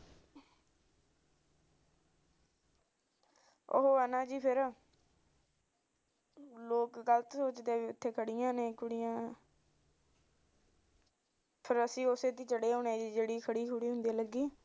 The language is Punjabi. ਉਹ ਐ ਨਾ ਜੀ ਫਿਰ ਲੋਕ ਗਲਤ ਸੋਚਦੇ ਨੇ ਵੀ ਉਥੇ ਖੜੀਆਂ ਨੇ ਕੁੜੀਆ ਫਿਰ ਅਸੀਂ ਉਸੇ ਚ ਚੜੇ ਆਉੰਦੇ